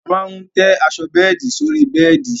A máa tẹ́ aṣọ bẹ́ẹ̀di sórí bẹ́ẹ̀di